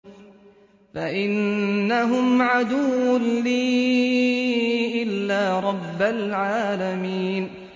فَإِنَّهُمْ عَدُوٌّ لِّي إِلَّا رَبَّ الْعَالَمِينَ